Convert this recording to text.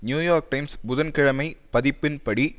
new York Times புதன்கிழமை பதிப்பின்படி